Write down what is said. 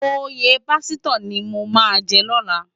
Óyé pásitò ni mó má jè lòlá